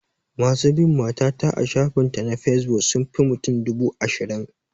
Masu bin mata ta a shafin ta na fesbuk sun fi mutum dubu ashirin